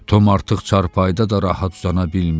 Tom artıq çarpayıda da rahat uzana bilmirdi.